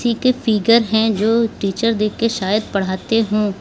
इनके फिगर है जो टीचर देख के शायद पढ़ाते हो।